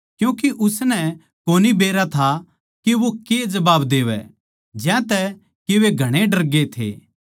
क्यूँके उसनै कोनी बेरा था के वो के जबाब देवै ज्यांतै के वे घणे डरगे थे